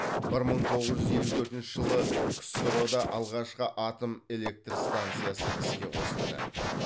бір мың тоғыз жүз елу төртінші жылы ксро да алғашқы атом электр станциясы іске қосылды